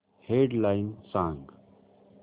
head lines सांग